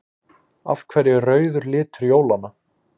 Af hverju er rauður litur jólanna?